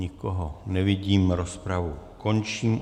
Nikoho nevidím, rozpravu končím.